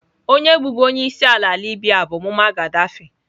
Onye bụbu onye isi ala Libya bụ Mummar Ghadaffi.